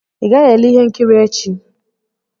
Ị gaghị ele ihe nkiri echi.